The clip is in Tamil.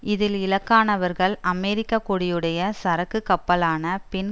இதில் இலக்கானவர்கள் அமெரிக்க கொடியுடைய சரக்கு கப்பலான பின்